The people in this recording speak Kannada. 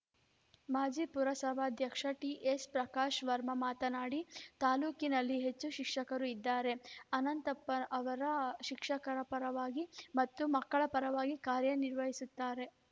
ಮಾಜಿ ಪುರಸಭಾಧ್ಯಕ್ಷ ಟಿಎಸ್‌ಪ್ರಕಾಶ್‌ ವರ್ಮ ಮಾತನಾಡಿ ತಾಲೂಕಿನಲ್ಲಿ ಹೆಚ್ಚು ಶಿಕ್ಷಕರು ಇದ್ದಾರೆ ಅನಂತಪ್ಪ ಅವರು ಶಿಕ್ಷಕರ ಪರವಾಗಿ ಮತ್ತು ಮಕ್ಕಳ ಪರವಾಗಿ ಕಾರ್ಯ ನಿರ್ವಹಿಸುತ್ತಾರೆ